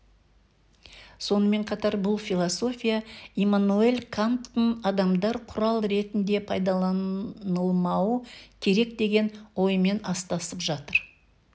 сонымен қатар бұл философия иммануэль канттың адамдар құрал ретінде пайдаланылмауы керек деген ойымен астасып жатыр